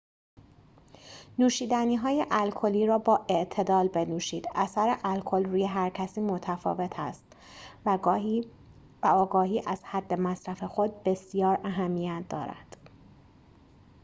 نوشیدنی‌های الکلی را با اعتدال بنوشید اثر الکل روی هرکسی متفاوت است و آگاهی از حد مصرف خود بسیار اهمیت دارد